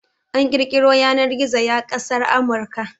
An kirkiro Yanar-gizo ya kasar Amurka